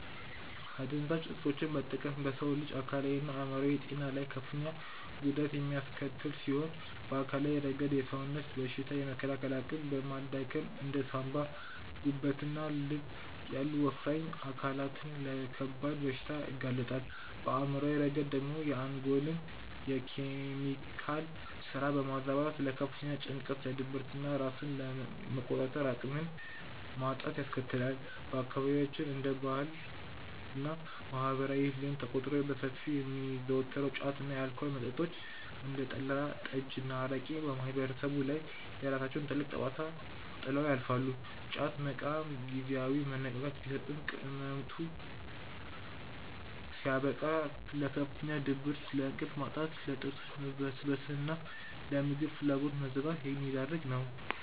አደንዛዥ እፆችን መጠቀም በሰው ልጅ አካላዊና አእምሯዊ ጤና ላይ ከፍተኛ ጉዳት የሚያስከትል ሲሆን፣ በአካላዊ ረገድ የሰውነትን በሽታ የመከላከል አቅም በማዳከም እንደ ሳንባ፣ ጉበትና ልብ ያሉ ወሳኝ አካላትን ለከባድ በሽታዎች ያጋልጣል፤ በአእምሯዊ ረገድ ደግሞ የአንጎልን የኬሚካል ስራ በማዛባት ለከፍተኛ ጭንቀት፣ ለድብርትና ራስን የመቆጣጠር አቅምን ማጣትን ያስከትላል። በአካባቢያችን እንደ ባህልና ማህበራዊ ልማድ ተቆጥረው በሰፊው የሚዘወተሩት ጫት እና የአልኮል መጠጦች (እንደ ጠላ፣ ጠጅና አረቄ) በማህበረሰቡ ላይ የራሳቸውን ጥልቅ ጠባሳ ጥለው ያልፋሉ፤ ጫት መቃም ጊዜያዊ መነቃቃትን ቢሰጥም ቅመቱ ሲያበቃ ለከፍተኛ ድብርት፣ ለእንቅልፍ ማጣት፣ ለጥርሶች መበስበስና ለምግብ ፍላጎት መዘጋት የሚዳርግ ነው።